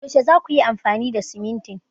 Yaushe za kuyi amfani da simintin?